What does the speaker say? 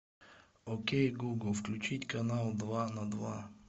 окей гугл включить канал два на два